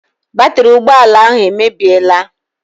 Batiri ụgbọala ahụ emebiela.